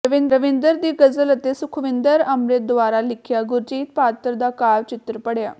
ਰਵਿੰਦਰ ਦੀ ਗ਼ਜ਼ਲ ਅਤੇ ਸੁਖਵਿੰਦਰ ਅੰਮਿ੍ਤ ਦੁਆਰਾ ਲਿਖਿਆ ਸੁਰਜੀਤ ਪਾਤਰ ਦਾ ਕਾਵਿ ਚਿਤੱਰ ਪੜਿਆ